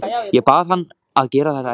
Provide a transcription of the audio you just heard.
Ég bað hann að gera það ekki.